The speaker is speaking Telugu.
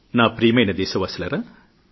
నా ప్రియతమ దేశవాసులారా